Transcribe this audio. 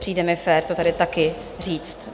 Přijde mi fér to tady taky říct.